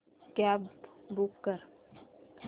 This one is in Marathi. कॅब बूक कर